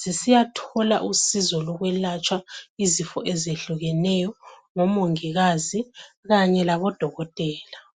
zisiyathola usizo lokwelatshwa izifo ezehlukeneyo ngomongikazi kanye labodokotela.